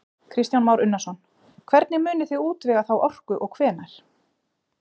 Kristján Már Unnarsson: Hvernig munið þið útvega þá orku og hvenær?